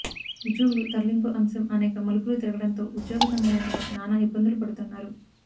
ఉద్యోగులు తరలింపు అంశం అనేక మలుపులు తిరగడంతో ఉద్యోగ సంఘ నేతలు నానా ఇబ్బందులు పడుతున్నారు